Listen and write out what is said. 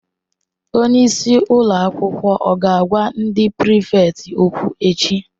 Onye isi ụlọ akwụkwọ ọ ga-agwa ndị prịfèkt okwụ echi?